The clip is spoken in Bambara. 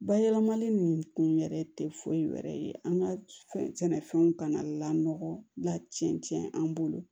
Bayɛlɛmali nin kun yɛrɛ tɛ foyi wɛrɛ ye an ka fɛn sɛnɛfɛnw kana lakɔlɔla cɛncɛn an bolo